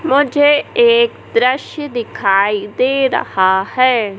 मुझे एक दृश्य दिखाई दे रहा है।